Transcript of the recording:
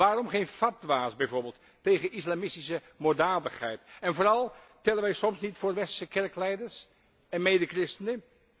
Waarom geen fatwa's bijvoorbeeld tegen islamistische moorddadigheid? En vooral tellen wij soms niet voor westerse kerkleiders en medechristenen?